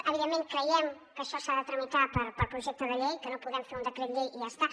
evidentment creiem que això s’ha de tramitar per projecte de llei que no podem fer un decret llei i ja està